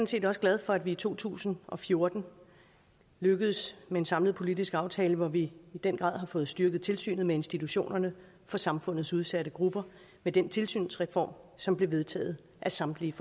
set også glad for at vi i to tusind og fjorten lykkedes med en samlet politisk aftale hvor vi i den grad har fået styrket tilsynet med institutionerne for samfundets udsatte grupper med den tilsynsreform som blev vedtaget af samtlige